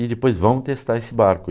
E depois, vamos testar esse barco.